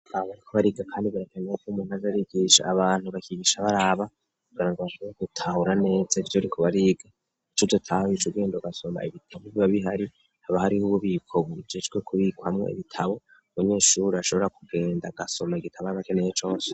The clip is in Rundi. Abariko bariga, kandi barakenewakob'umunaji arigisha abantu bakigisha baraba kugana ngo bakaza gutahura neza ivyo riko bariga icuza tahoyico urwendo gasoma ibitabo bibabihari haba hariho ububiko bujejwe kubirwa hamwo ibitabo bunyeshuri ashobora kugenda gasoma gitabo arbakeneye cose.